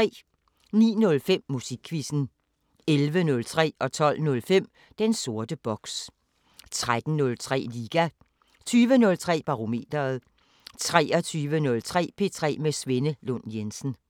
09:05: Musikquizzen 11:03: Den sorte boks 12:05: Den sorte boks 13:03: Liga 20:03: Barometeret 23:03: P3 med Svenne Lund Jensen